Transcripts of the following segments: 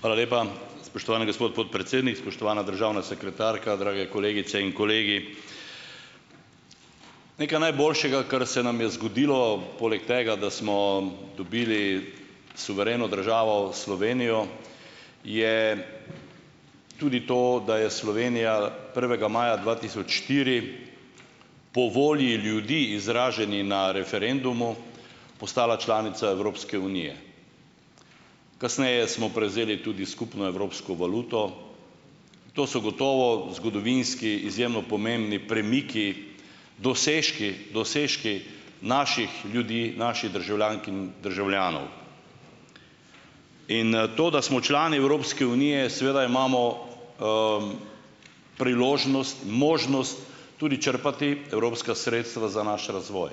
Hvala lepa, spoštovani gospod podpredsednik. Spoštovana državna sekretarka, drage kolegice in kolegi. Nekaj najboljšega, kar se nam je zgodilo poleg tega, da smo dobili suvereno državo Slovenijo, je tudi to, da je Slovenija prvega maja dva tisoč štiri po volji ljudi, izraženi na referendumu, postala članica Evropske unije. Kasneje smo prevzeli tudi skupno evropsko valuto. To so gotovo zgodovinski izjemno pomembni premiki, dosežki, dosežki naših ljudi, naših državljank in državljanov. In to, da smo člani Evropske unije, seveda imamo priložnost, možnost tudi črpati evropska sredstva za naš razvoj.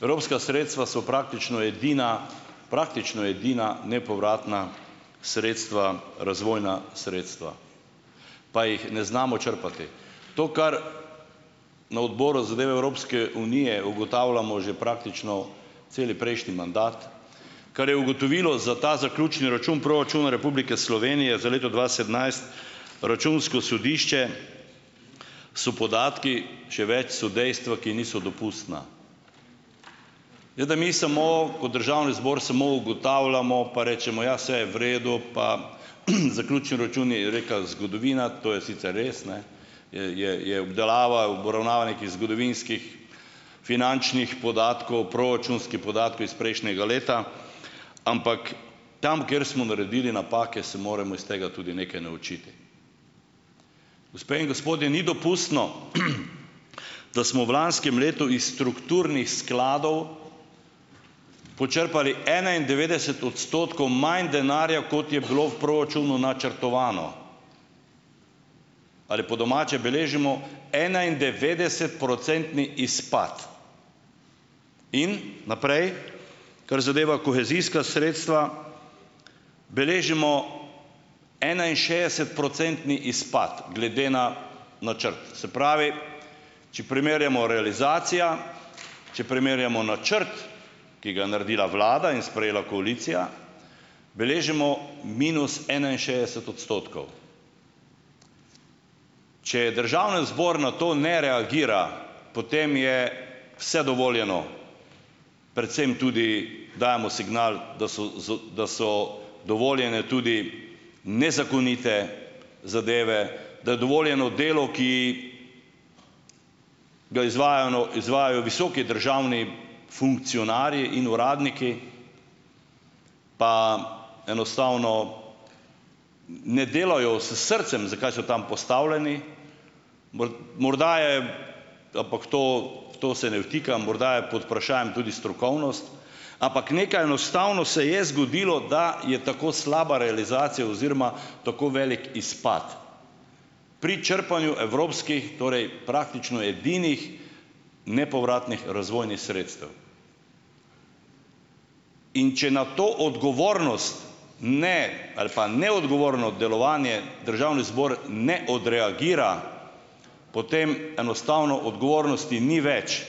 Evropska sredstva so praktično edina, praktično edina nepovratna sredstva, razvojna sredstva, pa jih ne znamo črpati. To, kar na odboru zadeve Evropske unije ugotavljamo že praktično cel prejšnji mandat, kar je ugotovilo za ta zaključni račun proračuna Republike Slovenije za leto dva sedemnajst računsko sodišče, so podatki, še več, so dejstva, ki niso dopustna. Mi samo kot državni zbor samo ugotavljamo, pa rečemo, ja, saj je v redu, pa zaključni račun, je rekla zgodovina. To je sicer res, je, je, je obdelava, obravnava nekih zgodovinskih finančnih podatkov, proračunskih podatkov iz prejšnjega leta, ampak tam, kjer smo naredili napake, se moramo iz tega tudi nekaj naučiti. Gospe in gospodje, ni dopustno, da smo v lanskem letu iz strukturnih skladov počrpali enaindevetdeset odstotkov manj denarja, kot je bilo v proračunu načrtovano. Ali po domače, beležimo enaindevetdesetprocentni izpad. In naprej, kar zadeva kohezijska sredstva, beležimo enainšestdesetprocentni izpad glede na načrt. Se pravi, če primerjamo realizacija, če primerjamo načrt, ki ga je naredila vlada in sprejela koalicija, beležimo minus enainšestdeset odstotkov. Če državni zbor na to ne reagira, potem je vse dovoljeno, predvsem tudi dajemo signal, da so dovoljene tudi nezakonite zadeve, da je dovoljeno delo, ki ga izvajajo visoki državni funkcionarji in uradniki, pa enostavno ne delajo s srcem, zakaj so tam postavljeni. Morda je, ampak to, v to se ne vtikam, morda je pod vprašajem tudi strokovnost. Ampak nekaj enostavno se je zgodilo, da je tako slaba realizacija oziroma tako veliko izpad pri črpanju evropskih, torej praktično edinih nepovratnih razvojnih sredstev. In če na to odgovornost, ne, ali pa neodgovorno delovanje državni zbor ne odreagira, potem enostavno odgovornosti ni več.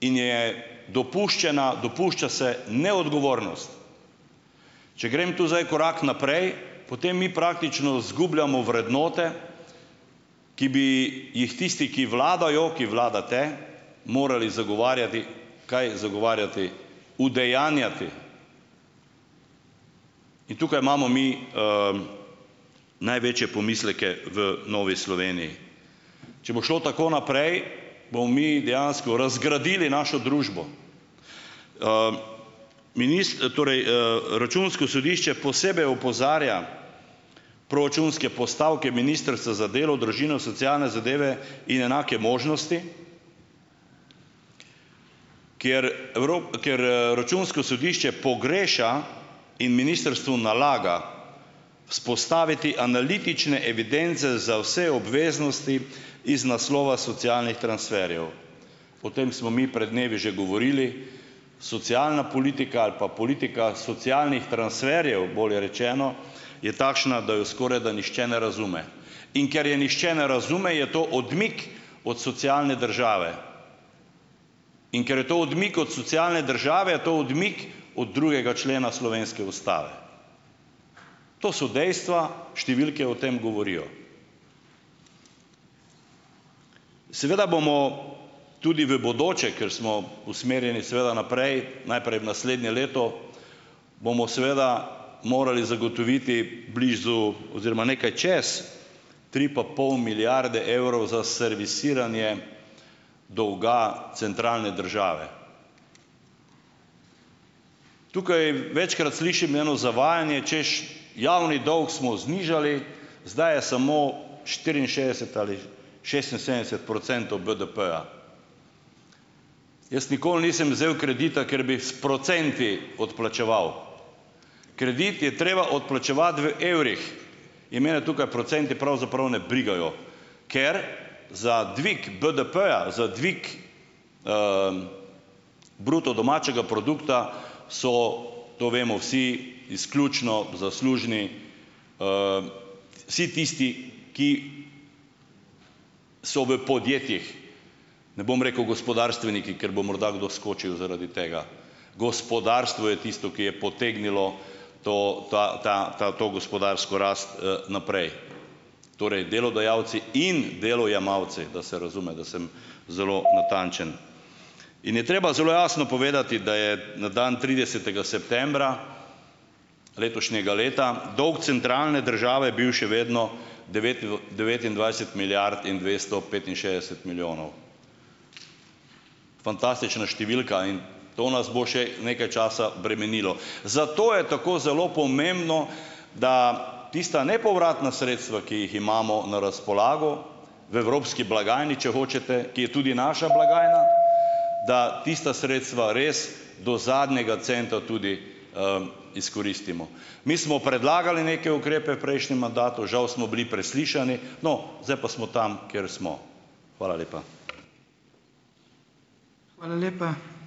In je dopuščena, dopušča se neodgovornost. Če grem tu zdaj korak naprej, potem mi praktično izgubljamo vrednote, ki bi jih tisti, ki vladajo, ki vladate, morali zagovarjati, kaj zagovarjati, udejanjati. In tukaj imamo mi, največje pomisleke v Novi Sloveniji. Če bo šlo tako naprej, bomo mi dejansko razgradili našo družbo. torej, računsko sodišče posebej opozarja proračunske postavke Ministrstva za delo, družino, socialne zadeve in enake možnosti, ker ker, računsko sodišče pogreša in ministrstvu nalaga vzpostaviti analitične evidence za vse obveznosti iz naslova socialnih transferjev, o tem smo mi pred dnevi že govorili. Socialna politika, ali pa politika socialnih transferjev, bolje rečeno, je takšna, da jo skoraj, da nihče ne razume, in ker je nihče ne razume, je to odmik od socialne države, in ker je to odmik od socialne države, je to odmik od drugega člena slovenske ustave. To so dejstva, številke o tem govorijo. Seveda bomo tudi v bodoče, ker smo usmerjeni seveda naprej najprej v naslednje leto, bomo seveda morali zagotoviti blizu oziroma nekaj čez tri pa pol milijarde evrov za servisiranje dolga centralne države. Tukaj večkrat slišim eno zavajanje, češ: "Javni dolg smo znižali, zdaj je samo štiriinšestdeset ali šestinsedemdeset procentov BDP-ja." Jaz nikoli nisem vzel kredita, ker bi s procenti odplačeval. Kredit je treba odplačevati v evrih in mene tukaj procenti pravzaprav ne brigajo, ker za dvig BDP-ja, za dvig bruto domačega produkta so, to vemo vsi, izključno zaslužni vsi tisti, ki so v podjetjih - ne bom rekel gospodarstveniki, ker bo morda kdo skočil zaradi tega. Gospodarstvo je tisto, ki je potegnilo to, ta, ta, ta, to gospodarsko rast, naprej, torej delodajalci in delojemalci, da se razume, da sem zelo natančen. In je treba zelo jasno povedati, da je na dan tridesetega septembra letošnjega leta dolg centralne države bil še vedno devetindvajset milijard in dvesto petinšestdeset milijonov. Fantastična številka in to nas bo še nekaj časa bremenilo. Zato je tako zelo pomembno, da tista nepovratna sredstva, ki jih imamo na razpolago v evropski blagajni, če hočete, ki je tudi naša blagajna, da tista sredstva res do zadnjega centa tudi, izkoristimo. Mi smo predlagali neke ukrepe v prejšnjem mandatu - žal smo bili preslišani no, zdaj pa smo tam, kjer smo. Hvala lepa.